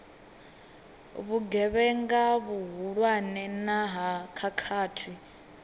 vhugevhenga vhuhulwane na ha khakhathi